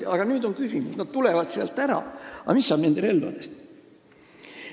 Küsimus on nüüd selles, et kui nad tulevad sealt ära, siis mis saab nende relvadest.